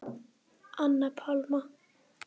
Anna Pálma.